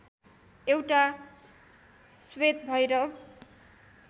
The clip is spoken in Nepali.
एउटा श्वेत भैरव